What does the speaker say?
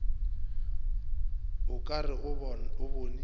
o ka re o bone